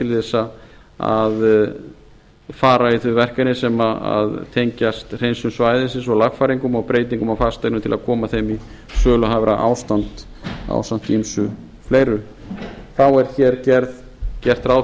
til að fara í þau verkefni sem tengjast hreinsun svæðisins og lagfæringum og breytingum á fasteignum til að koma þeim í söluhæfara ástand ásamt ýmsu fleiru þá er gert rá